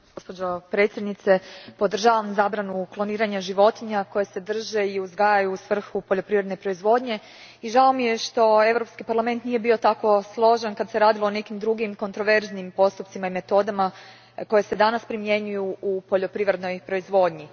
Gospođo predsjednice, podržavam zabranu kloniranja životinja koje se drže i uzgajaju u svrhu poljoprivredne proizvodnje i žao mi je što Europski parlament nije bio tako složan kad se radilo o nekim drugim kontroverznim postupcima i metodama koji se danas primjenjuju u poljoprivrednoj proizvodnji.